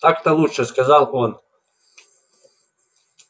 так-то лучше сказал он